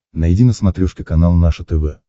найди на смотрешке канал наше тв